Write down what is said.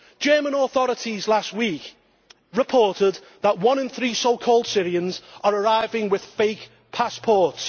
The German authorities last week reported that one in three so called Syrians' are arriving with fake passports.